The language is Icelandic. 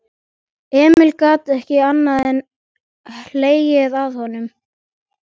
Emil gat ekki annað en hlegið að honum.